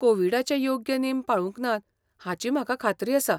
कोविडाचे योग्य नेम पाळूंक नात हाची म्हाका खात्री आसा.